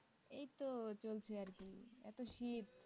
এই তো চলছে আর কি এত শীত